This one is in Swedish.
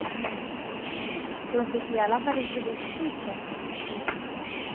För hon fick i alla fall inte livstids fängelse.